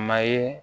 Ma ye